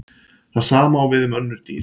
Það sama á við um önnur dýr.